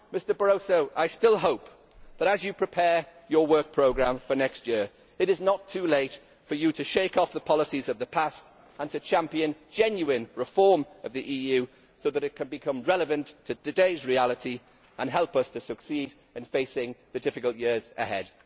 Mr Barroso, I still hope that, as you prepare your work programme for next year, it is not too late for you to shake off the policies of the past and to champion genuine reform of the EU so that it can become relevant to today's reality and help us to succeed in facing the difficult years ahead.